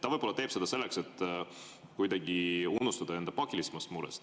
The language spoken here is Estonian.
Ta võib-olla teeb seda selleks, et kuidagi unustada enda pakilisemat muret.